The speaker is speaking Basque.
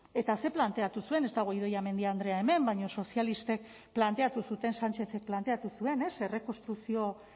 eta ze planteatu zuen ez dago idoia mendia andrea hemen baina sozialistek planteatu zuten sánchezek planteatu zuen ez errekonstrukzio